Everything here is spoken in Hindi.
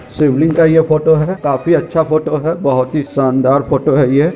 शिवलिंग का ये फोटो है काफी अच्छा फोटो हैबोहोत ही शानदार फोटो है ये--